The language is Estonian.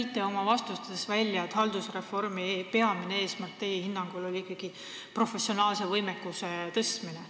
Te tõite oma vastustes välja, et teie hinnangul on haldusreformi peamine eesmärk ikkagi professionaalse võimekuse tõstmine.